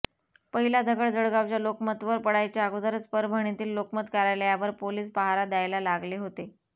पहिला दगड जळगावच्या लोकमतवर पडायच्या अगोदरच परभणीतील लोकमत कार्यालयावर पोलिस पहारा द्यायला लागले होते